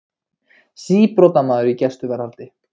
Síbrotamaður í gæsluvarðhaldi